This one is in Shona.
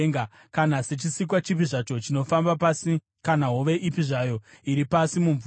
kana sechisikwa chipi zvacho chinofamba pasi kana hove ipi zvayo iri pasi mumvura.